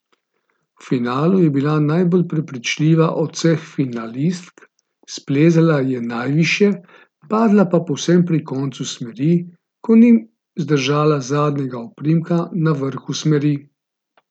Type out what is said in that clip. V finalu je bila najbolj prepričljiva od vseh finalistk, splezala je najvišje, padla pa povsem pri koncu smeri, ko ni zadržala zadnjega oprimka na vrhu smeri.